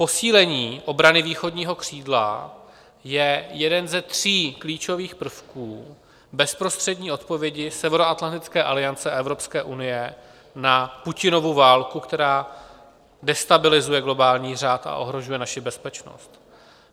Posílení obrany východního křídla je jedním ze tří klíčových prvků bezprostřední odpovědi Severoatlantické aliance a Evropské unie na Putinovu válku, která destabilizuje globální řád a ohrožuje naši bezpečnost.